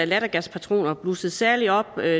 lattergaspatroner blussede særligt op da